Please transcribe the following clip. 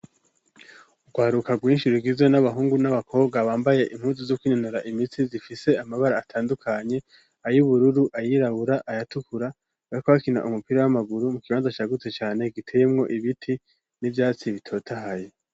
Urwaruka rwinshi rugizwe n'abahungu n'abakobwa bambaye impuzu zo kwinonora imitsi zifise amabara atandukanye, ayubururu, ayirabura, ayatukura, bariko hakina umupira w'amaguru mu kibanza cagutse cane giteyemwo ibiti n'ivyatsi bitotahaye.